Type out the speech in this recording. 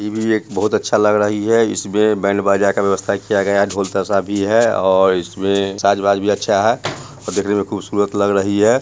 ई भी बहुत अच्छा लग रही है इसमें बैंड - बाजा का व्यवस्था किया गया ढोल-तशा है और इसमें साज-बाज भी अच्छा है देखने में खुबसूरत लग रही है।